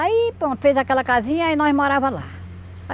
Aí pronto fez aquela casinha e nós morava lá.